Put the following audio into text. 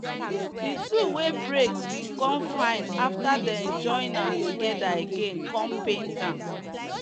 the tool wey break bin come fine after them join am together again come paint am